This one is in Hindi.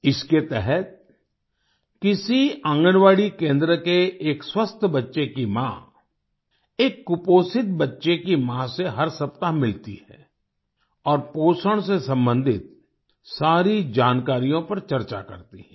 इसके तहत किसी आंगनबाड़ी केंद्र के एक स्वस्थ बच्चे की माँ एक कुपोषित बच्चे की माँ से हर सप्ताह मिलती है और पोषण से संबंधित सारी जानकारियों पर चर्चा करती है